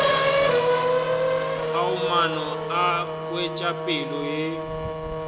ao maano a wetšopele ya